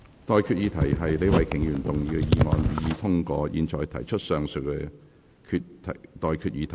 我現在向各位提出上述待決議題。